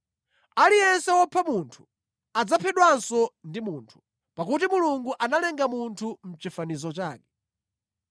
“Aliyense wopha munthu, adzaphedwanso ndi munthu; pakuti Mulungu analenga munthu mʼchifanizo chake.